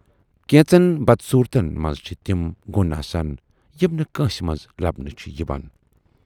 کینژن بدصوٗرتن منز چھِ تِم گۅن آسان یِم نہٕ کٲنسہِ منز لبنہٕ چھِ یِوان۔